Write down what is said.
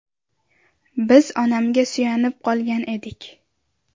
Biz onamga suyanib qolgan edik.